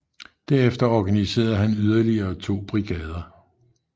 Derefter organiserede han yderligere to brigader